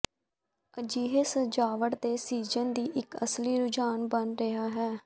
ਅਜਿਹੇ ਸਜਾਵਟ ਦੇ ਸੀਜ਼ਨ ਦੀ ਇੱਕ ਅਸਲੀ ਰੁਝਾਨ ਬਣ ਰਿਹਾ ਹੈ